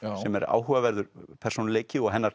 sem er áhugaverður persónuleiki og hennar